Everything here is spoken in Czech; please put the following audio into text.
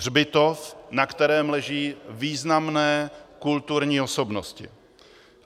Hřbitov, na kterém leží významné kulturní osobnosti.